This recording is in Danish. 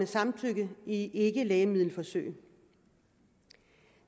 samtykke i ikkelægemiddelforsøg